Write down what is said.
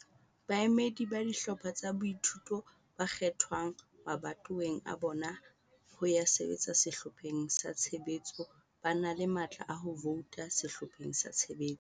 Baemedi ba dihlopha tsa boithuto ba kgethwang mabatoweng a bona ho ya sebetsa sehlopheng sa tshebetso ba na le matla a ho vouta sehlopheng sa tshebetso.